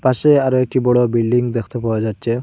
পাশে আরো একটি বড়ো বিল্ডিং দেখতে পাওয়া যাচ্চে ।